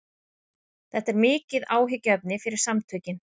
Þetta er mikið áhyggjuefni fyrir samtökin